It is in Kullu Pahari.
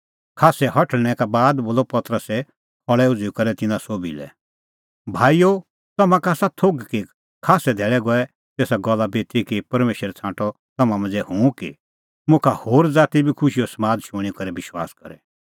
खास्सै हठल़णैं का बाद बोलअ पतरसै खल़ै उझ़ुई करै तिन्नां सोभी लै भाईओ तम्हां का आसा थोघ कि खास्सै धैल़ै गऐ तेसा गल्ला बिती कि परमेशरै छ़ांटअ तम्हां मांझ़ै हुंह कि मुखा होर ज़ाती बी खुशीओ समाद शूणीं करै विश्वास करे